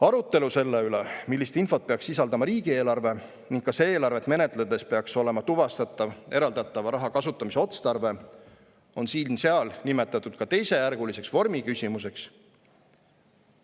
Arutelu selle üle, millist infot peaks sisaldama riigieelarve ning kas eelarvet menetledes peaks olema tuvastatav eraldatava raha kasutamise otstarve, on siin-seal nimetatud ka teisejärguliseks vormiküsimuseks.